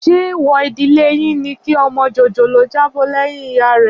Ṣé èèwọ̀ ìdílé yín ni kí ọmọ jòjòló jábọ́ lẹ́yìn ìyá rẹ̀?